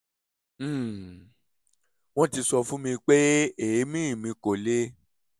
um wọ́n ti sọ fún mi pé èémí mi kò le